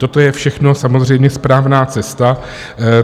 Toto je všechno samozřejmě správná cesta.